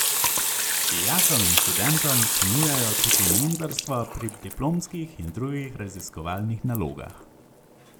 Dijakom in študentom ponujajo tudi mentorstvo pri diplomskih in drugih raziskovalnih nalogah.